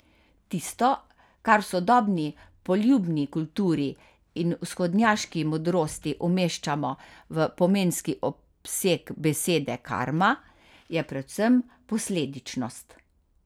Tisto, kar v sodobni poljudni kulturi in vzhodnjaški modrosti umeščamo v pomenski obseg besede karma, je predvsem posledičnost.